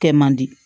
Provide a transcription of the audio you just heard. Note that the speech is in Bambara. Kɛ man di